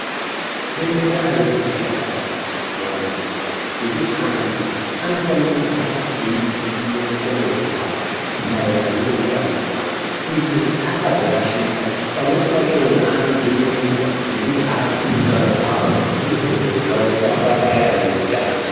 Bembera arizi kushata muantu ngekuti antu anofane kugara eiziye mundxondo dzavo maererano ngeutano hwawo kuitira kuti asazorashika. Pamweni pachona anodzvinyirirwa ngekuti haazii utano hwawo uye kodzero dzawo maererano neutano.